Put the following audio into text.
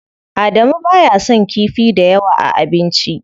Adamu baya son kifi dayawa a abinci.